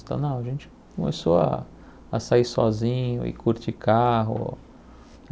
Então, não, a gente começou a a sair sozinho e curte carro.